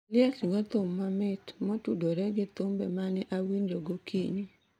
Oliech go thum mamit motudore gi thumbe ma ne awinjo gokinyi